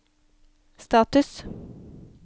status